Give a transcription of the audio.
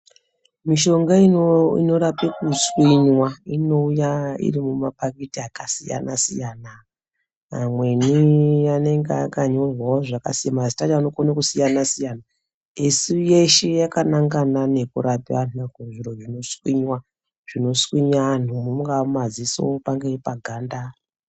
Mishonga inorapwe kuswinywa inouya iri mumapakiti akasiyana siyana amweni anenge akanyorwa zvakasi , mazita acho anokone kusiyana esi yeshe yakanangana nekurape antu kuzviro zvinoswinya mungaa mumaziso pangai paganda.